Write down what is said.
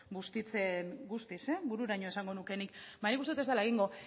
bustitzen guztiz bururaino esango nuke nik ba nik uste dut ez dela egingo